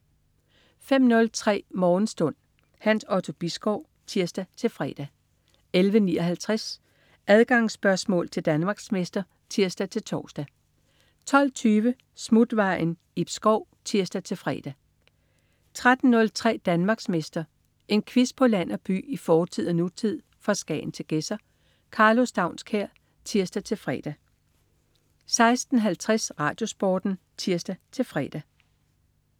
05.03 Morgenstund. Hans Otto Bisgaard (tirs-fre) 11.59 Adgangsspørgsmål til Danmarksmester (tirs-tors) 12.20 Smutvejen. Ib Schou (tirs-fre) 13.03 Danmarksmester. En quiz på land og by, i fortid og nutid, fra Skagen til Gedser. Karlo Staunskær (tirs-fre) 16.50 RadioSporten (tirs-fre)